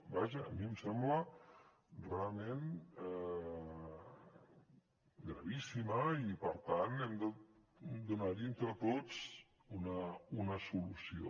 vaja a mi em sembla realment gravíssima i per tant hem de donar hi entre tots una solució